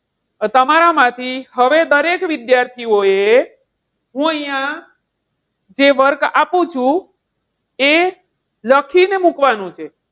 તમારામાંથી હવે દરેક વિદ્યાર્થીઓ હું અહીંય જે work આપું છુ એ લખીને મૂકવાનું છે.